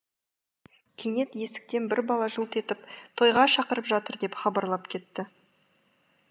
кенет есіктен бір бала жылт етіп тойға шақырып жатыр деп хабарлап кетті